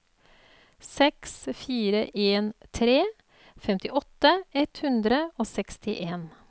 seks fire en tre femtiåtte ett hundre og sekstien